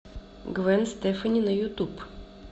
гвен стефани на ютуб